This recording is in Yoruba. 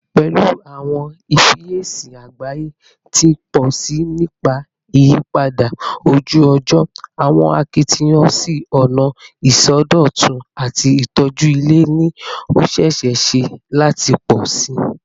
Pẹlu awọn ifiyesi agbaye ti n pọ si nipa iyipada oju-ọjọ, awọn akitiyan si ọna isọdọtun ati itoju ilẹ ni o ṣee ṣe lati pọ si